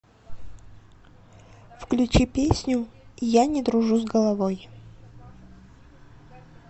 включи песню я не дружу с головой